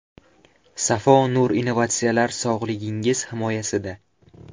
Safo Nur innovatsiyalar sog‘lig‘ingiz himoyasida.